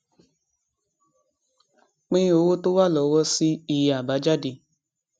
pín owó tó wà lọwọ sí iye àbájáde